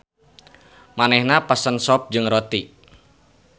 Manehna pesen sop jeung roti.